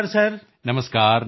ਨਮਸਕਾਰ ਨਮਸਕਾਰ